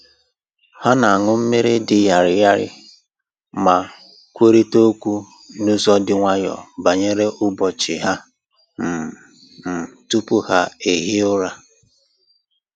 Ha na-aṅụ mmiri dị ñarị ñarị ma kwurịta okwu n'ụzọ dị nwayọọ banyere ụbọchị ha um um tupu ha ehie ụra